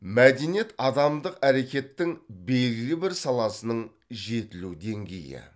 мәдениет адамдық әрекеттің белгілі бір саласының жетілу деңгейі